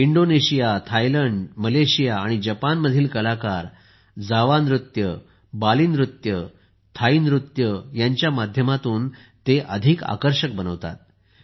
Indonesia Thailand Malaysia आणि जपानमधील कलाकार जावा नृत्य बालीनीज नृत्य थाई नृत्याच्या माध्यमातून ते अधिक आकर्षक बनवतात